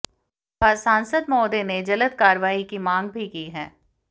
व् सांसद महोदय ने जल्द कारवाही की मांग भी की है